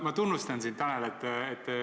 Ma tunnustan sind, Tanel.